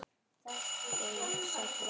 Geir Sæll vertu.